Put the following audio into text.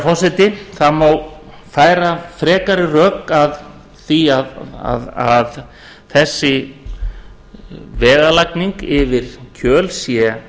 forseti það má færa frekari rök að því að þessi vegalagning yfir kjöl sé